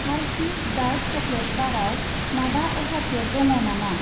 हारशिस dark chocolate बाराव माबा अफारफोर दङ नामा?